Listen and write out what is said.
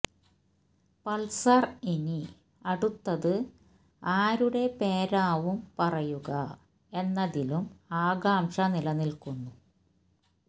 Pulsar ഇനി അടുത്തത് ആരുടെ പേരാവും പറയുക എന്നതിലും ആകാംക്ഷ നിലനിൽക്കുന്നു